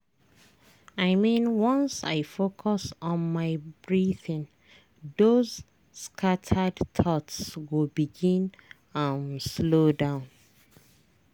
i mean once i focus on my breathing those scattered thoughts go begin um slow down.